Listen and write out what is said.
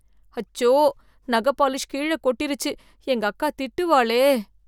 அச்சோ! நக பாலிஷ் கீழே கொட்டிருச்சு எங்க அக்கா திட்டுவாளே